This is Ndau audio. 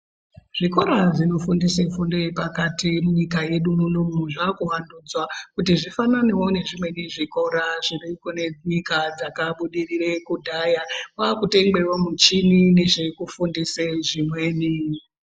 zvikora zvinofundise fundo yepakati munyika yedu munomu zvakuvandudzwa. Kuti zvifananevo nezvimweni zvikora zvinokone munyika dzakabudirire kudhaya kwakutengwevo michini nezvekufundise zvimweni.